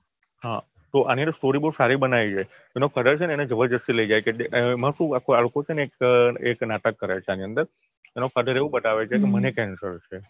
તો એ બધી સાચી વાત તો આની story બહુ સારી બનાઈ છે એનો કલર છે ને જબરજ્સ્તી લઇ જાય છે એમાં શું આ લોકો છે ને એક નાટક કરે છે એની અંદર એનો fathear એવું બતાવે છે કે મને કેન્સર છે